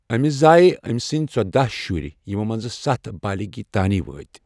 أمِس زایہِ أمۍ سٕنٛدِ ژۄداہ شُرۍ، یِمو منٛزٕ سَتھ بالیغی تانہِ وٲتۍ۔